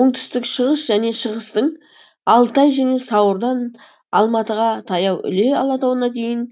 оңтүстік шығыс және шығыстың алтай және сауырдан алматыға таяу іле алатауына дейін